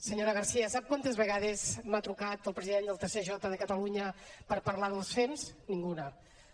senyora garcía sap quantes vegades m’ha trucat el president del tsj de catalunya per parlar dels fems ninguna